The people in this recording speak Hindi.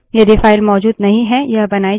यदि file मौजूद नहीं है यह बनाई जाती है